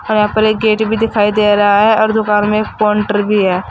और यहां पर एक गेट भी दिखाई दे रहा है और दुकान में एक कोन्टर भी है।